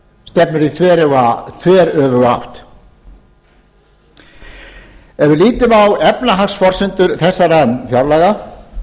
stefnir í þveröfuga átt ef við lítum á efnahagsforsendum þessara fjárlaga